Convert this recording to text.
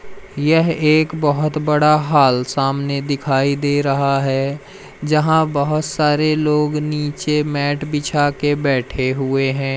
यह एक बहोत बड़ा हाल सामने दिखाई दे रहा है जहां बहोत सारे लोग नीचे मैट बिछा के बैठे हुए हैं।